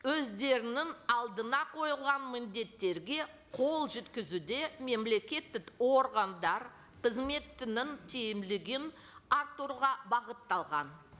өздерінің алдына қойылған міндеттерге қол жеткізуде мемлекеттік органдар қызметінің тиімділігін арттыруға бағытталған